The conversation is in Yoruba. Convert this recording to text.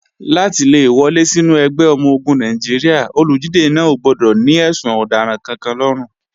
Láti le wọlé sínú ẹgbẹ́ ọmọ-ogun Nàìjíríà, olùdíje náà ò gbọdọ̀ ní ẹ̀sùn ọ̀daràn kankan lọ́rùn.